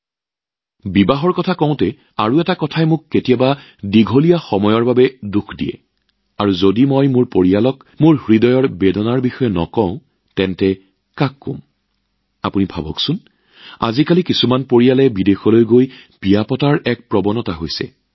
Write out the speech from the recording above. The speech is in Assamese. আৰু হয় যিহেতু বিয়াৰ বিষয়টো আহিছে এটা কথাই মোক বহুদিনৰ পৰা আমনি কৰি আহিছে আৰু যদি মই মোৰ পৰিয়ালৰ সদস্যসকলৰ আগত মোৰ হৃদয়ৰ বিষটো খুলি নকওঁ তেন্তে মই আৰু কাৰ লগত সেই কথা শ্বেয়াৰ কৰিম এটা কথা চিন্তা কৰকচোন আজিকালি একাংশ পৰিয়ালে বিদেশলৈ গৈ বিয়া অনুষ্ঠিত কৰাৰ নতুন পৰিৱেশ সৃষ্টি কৰিছে